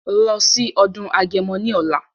Lọ sí ọdún agẹmọ ní ọ̀la!